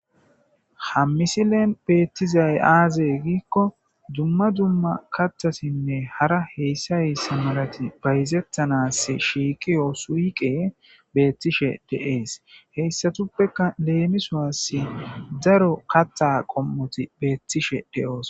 Ha misileen beettizay aazey giikko dumma dumma kathasinne hara heyssay s malati bayzettanas shiiqiyoo suyqe beettishe de'ees heyssatuppeka leemisoasi daro katha qom'oti beettishe de'oos.